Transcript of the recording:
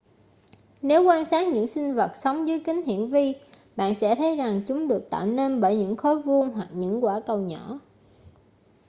nếu quan sát những sinh vật sống dưới kính hiển vi bạn sẽ thấy rằng chúng được tạo nên bởi những khối vuông hoặc những quả cầu nhỏ